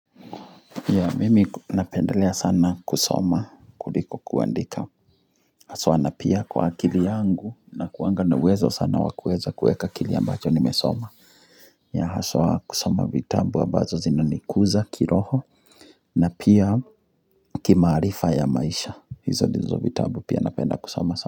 Ya mimi napendelea sana kusoma kuliko kuandika haswa na pia kwa akili yangu na kuanga na uwezo sana wa kueza kueka kile ambacho nimesoma ya haswa kusoma vitabu wa ambazo zina nikuza kiroho na pia kimaarifa ya maisha hizo ndizo vitabu pia napenda kusoma.